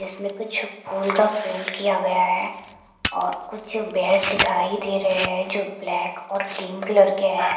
इसमें कुछ फूल का प्रिंट किया गया है और कुछ बेड दिखाई दे रहे हैं जो ब्लैक और क्रीम कलर के है।